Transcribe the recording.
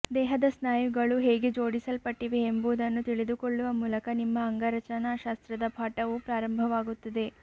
ದೇಹದ ಸ್ನಾಯುಗಳು ಹೇಗೆ ಜೋಡಿಸಲ್ಪಟ್ಟಿವೆ ಎಂಬುದನ್ನು ತಿಳಿದುಕೊಳ್ಳುವ ಮೂಲಕ ನಿಮ್ಮ ಅಂಗರಚನಾಶಾಸ್ತ್ರದ ಪಾಠವು ಪ್ರಾರಂಭವಾಗುತ್ತದೆ